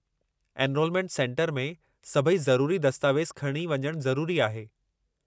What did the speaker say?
Enrolment centre में सभई ज़रूरी दस्तावेज़ खणी वञणु ज़रूरी आहे।